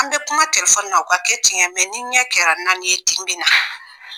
An bɛ kuma telefɔni na o ka kɛ tiɲɛ ye ni ɲɛ kɛra naani ye tin bɛ na